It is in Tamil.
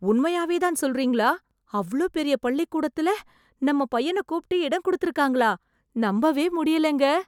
உண்மையாவே தான் சொல்றீங்களா, அவ்ளோ பெரிய பள்ளிக்கூடத்துல நம்ம பையன கூப்பிட்டு இடம் கொடுத்துருக்காங்களா, நம்பவே முடியலைங்க.